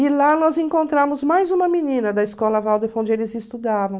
E lá nós encontramos mais uma menina da Escola Waldorf, onde eles estudavam.